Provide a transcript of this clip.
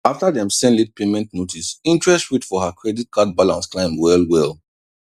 after dem send late payment notice interest rate for her credit card balance climb well well